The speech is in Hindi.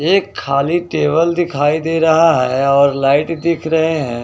एक खाली टेबल दिखाई दे रहा है और लाइट दिख रहे हैं।